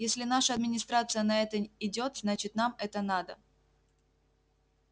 если наша администрация на это идёт значит нам это надо